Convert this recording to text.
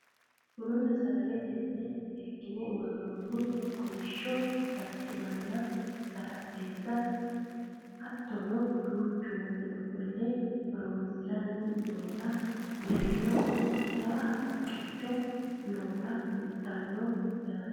bununna sagalete mine seekkine worroonnita kolishsho barimanna xarapheezza hattono duuchu manni ofolle horonsiranni nootanna mereeroho jawa haqqicho noota kultannonke yaate